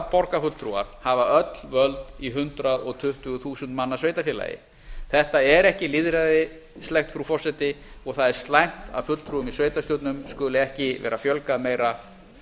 borgarfulltrúar hafa öll völd í hundrað tuttugu þúsund manna sveitarfélagi þetta er ekki lýðræðislegt frú forseti og það er slæmt að fulltrúum í sveitarstjórnum skuli ekki vera fjölgað meira